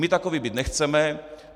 My takoví být nechceme.